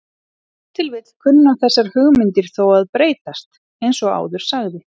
Ef til vill kunna þessar hugmyndir þó að breytast eins og áður sagði.